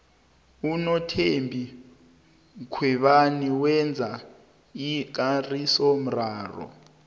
unothembi mkhwebana wenze ikarisomraro